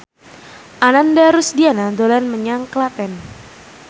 Ananda Rusdiana dolan menyang Klaten